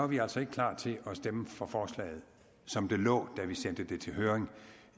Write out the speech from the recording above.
vi altså ikke klar til at stemme for forslaget som det lå da vi sendte det til høring